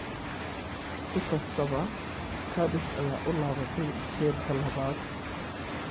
si kastaba Cardiff ayaa u laabatay heerka labaad.